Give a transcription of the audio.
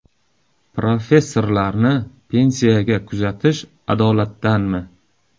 Professorlarni pensiyaga kuzatish adolatdanmi?.